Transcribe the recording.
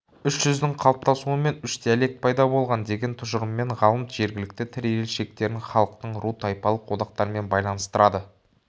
үш жүздің қалыптасуымен үш диалект пайда болған деген тұжырыммен ғалым жергілікті тіл ерекшеліктерін халықтың ру тайпалық одақтарымен байланыстырады